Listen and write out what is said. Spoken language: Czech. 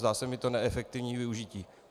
Zdá se mi to neefektivní využití.